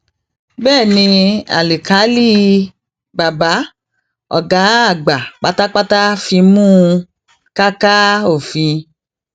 um bẹẹ ni àlákìlì bàbá ọgá àgbà pátápátá fimú um káká òfin o